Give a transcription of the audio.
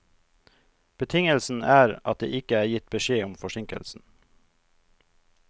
Betingelsen er at det ikke er gitt beskjed om forsinkelsen.